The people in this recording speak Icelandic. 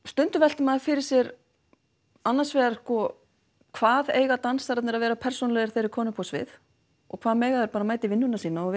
stundum veltir maður fyrir sér annars vegar sko hvað eiga dansararnir að vera persónulegir þegar þeir eru komnir upp á svið og hvað mega þeir bara mæta í vinnuna sína og